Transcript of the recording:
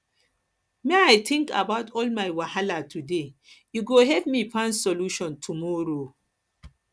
make i tink about all my wahala today e go help me find solutions tomorrow tomorrow